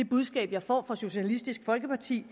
budskab jeg får fra socialistisk folkeparti